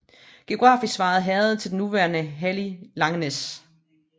Geografisk svarer herredet til den nuværende hallig Langenæs